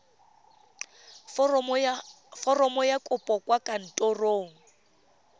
foromo ya kopo kwa kantorong